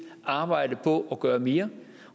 arbejde på at gøre mere